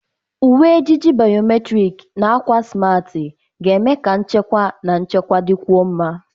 Uwe ejiji biometrik na akwa smart ga-eme ka nchekwa na nchekwa dịkwuo mma.